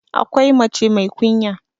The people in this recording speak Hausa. akwai mace mai kunya